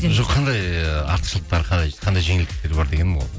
жоқ қандай артықшылықтар қандай жеңілдіктер бар дегенім ғой